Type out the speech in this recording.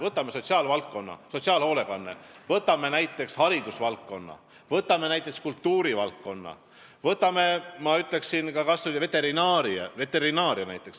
Võtame sotsiaalvaldkonna, sotsiaalhoolekande, võtame näiteks haridusvaldkonna, võtame näiteks kultuurivaldkonna, võtame, ma ütleksin, kas või veterinaaria.